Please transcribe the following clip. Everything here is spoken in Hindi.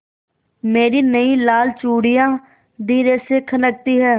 मेरी नयी लाल चूड़ियाँ धीरे से खनकती हैं